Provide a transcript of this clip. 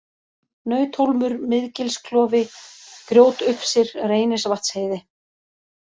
Nauthólmur, Miðgilsklofi, Grjótufsir, Reynisvatnsheiði